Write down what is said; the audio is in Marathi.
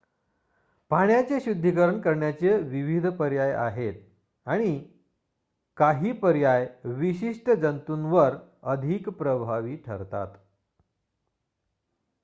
पाण्याचे शुद्धीकरण करण्याचे विविध पर्याय आहेत काही पर्याय विशिष्ट जंतुंवर अधिक प्रभावी ठरतात